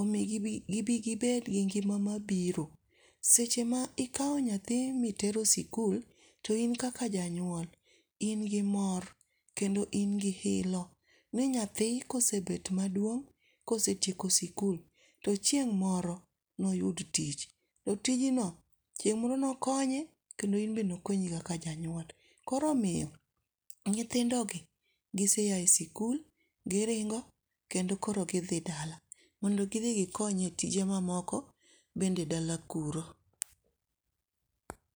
omi gibi gibigibed gi ngima mabiro. Sechema ikawo nyathi ma itero e sikul, to in kaka janyuol in gi mor kendo in gi ilo ni nyathi ka osebet maduong' ka osetieko sikul to chieng' moro noyud tich to tijno chieng' moro nokonye kendo in bende nokonyi kaka janyuol koro omiyo nyithindogi gise a e sikul giringo kendo koro gidhi dala mondo gidhi gikonye tije mamoko bende dala kuro.